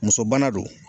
Muso bana do